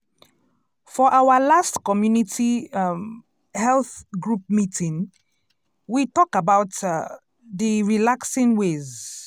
for our last community um health group meeting we talk about um d relaxing ways.